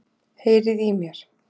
Heyriði í mér?